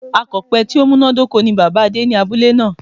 Akòpe tí ó múnádóko ni Bàbáa Adé ní abúlé náà